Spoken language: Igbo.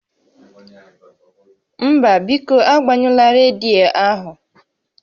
Mba, biko agbanyụla rediyo ahụ